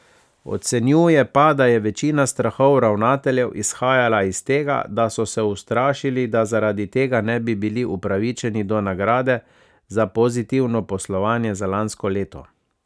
Ocenjuje pa, da je večina strahov ravnateljev izhajala iz tega, da so se ustrašili, da zaradi tega ne bi bili upravičeni do nagrade za pozitivno poslovanje za lansko leto.